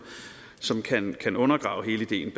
kan undergrave hele ideen